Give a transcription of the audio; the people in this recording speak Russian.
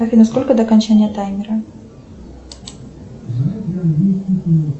афина сколько до окончания таймера